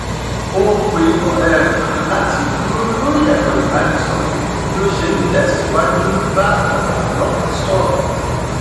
ó pe ọrẹ rẹ kan láti dúró lórí ẹrọ ìbánisọrọ bí ó ṣe n tẹsíwájú bá ọgá ọlọpàá sọrọ